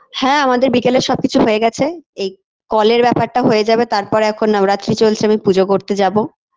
হ্যাঁ আমাদের বিকেলে সবকিছু হয়ে গেছে এই call -এর ব্যাপারটা হয়ে যাবে তারপর এখন নবরাত্রি চলছে পুজো করতে যাবো